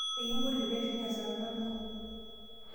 Ekimpoti teneishunye esaa nabo.